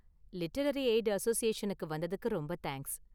Literary aid அசோசியேஷனுக்கு வந்ததுக்கு ரொம்ப தேங்க்ஸ்.